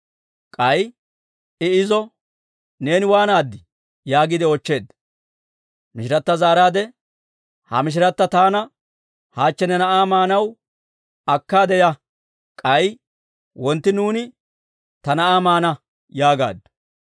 K'ay I izo, «Neeni waanaaddii?» yaagiide oochcheedda. Mishirata zaaraadde, «Ha mishirata taana, ‹Hachchi ne na'aa maanaw akkaade ya; k'ay wontti nuuni ta na'aa maana› yaagaaddu.